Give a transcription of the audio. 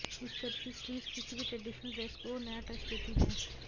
इस तरह की स्लीव्स किसी भी ट्रेडिशनल ड्रैस को नया टच देती हैं